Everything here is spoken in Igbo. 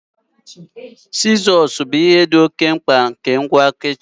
Sizos bụ bu ihe dị oke mkpa nke ngwa kichin.